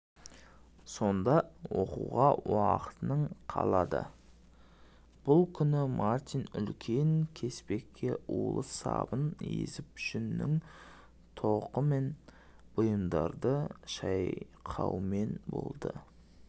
сонда оқуға уақытың қаладыбұл күні мартин үлкен кеспекке улы сабын езіп жүннен тоқыған бұйымдарды шайқаумен болды